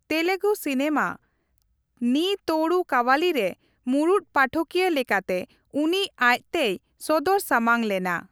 Telugu cinema ᱱᱤ ᱛᱳᱲᱩ ᱠᱟᱵᱷᱟᱞᱤ ᱨᱮ ᱢᱩᱲᱩᱫ ᱯᱟᱴᱷᱚᱠᱤᱭᱟᱹ ᱞᱮᱠᱟᱛᱮ ᱩᱱᱤ ᱟᱡᱛᱮᱭ ᱥᱚᱫᱚᱨ ᱥᱟᱢᱟᱝ ᱞᱮᱱᱟ ᱾